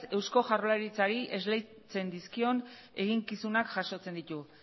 eusko jaurlaritzari esleitzen dizkion eginkizunak jasotzen ditu